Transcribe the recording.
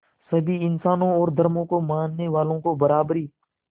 सभी इंसानों और धर्मों को मानने वालों को बराबरी